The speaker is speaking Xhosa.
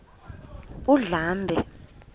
undlambe